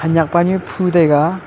hanyak pa nyu phu taiga.